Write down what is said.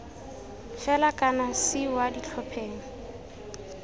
fela kana c kwa ditlhopheng